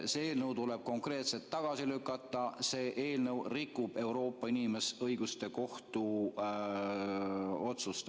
See eelnõu tuleb konkreetselt tagasi lükata, see eelnõu rikub Euroopa Inimõiguste Kohtu otsust.